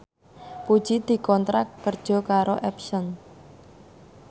Puji dikontrak kerja karo Epson